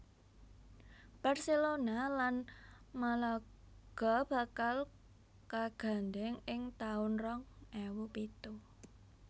Barcelona lan Malaga bakal kagandhèng ing taun rong ewu pitu